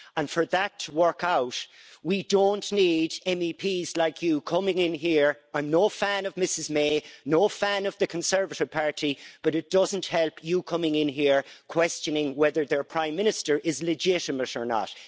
For that to work out, we don't need MEPs like you coming in here I'm no fan of Ms May, no fan of the Conservative Party but it doesn't help you coming in here and questioning whether their Prime Minister is legitimate or not.